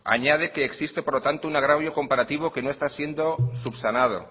añade que existe por lo tanto un agravio comparativo que no está siendo subsanado